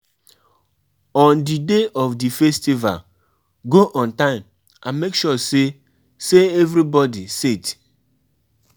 Persin fit decide say im won travel go do im holiday or stay for house do im holiday